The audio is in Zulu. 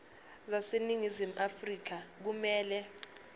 zaseningizimu afrika kumele